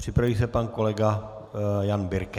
Připraví se pan kolega Jan Birke.